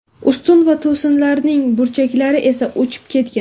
Ustun va to‘sinlarning burchaklari esa uchib ketgan.